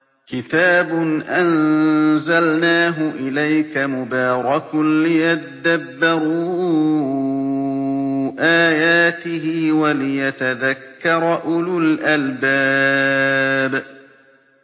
كِتَابٌ أَنزَلْنَاهُ إِلَيْكَ مُبَارَكٌ لِّيَدَّبَّرُوا آيَاتِهِ وَلِيَتَذَكَّرَ أُولُو الْأَلْبَابِ